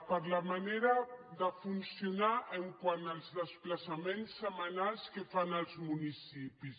per la manera de funcionar quant als desplaçaments setmanals que fan als municipis